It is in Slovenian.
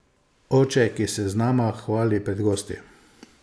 Oče, ki se z nama hvali pred gosti.